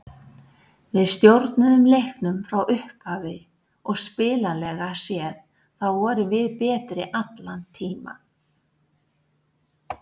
Við stjórnuðum leiknum frá upphafi og spilanlega séð þá vorum við betri allan tímann.